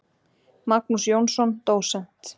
Magnús Jónsson, dósent.